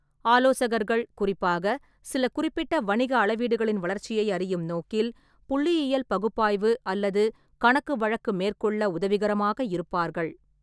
ஆலோசகர்கள் குறிப்பாக, சில குறிப்பிட்ட வணிக அளவீடுகளின் வளர்ச்சியை அறியும் நோக்கில் புள்ளியியல் பகுப்பாய்வு அல்லது கணக்குவழக்கு மேற்கொள்ள உதவிகரமாக இருப்பார்கள்.